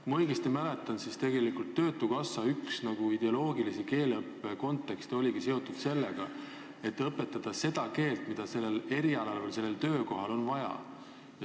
Kui ma õigesti mäletan, siis tegelikult oli üks töötukassa ideoloogilisi keeleõppe põhimõtteid, et inimestele tuleb õpetada seda keelt, mida tema erialal või töökohal on vaja.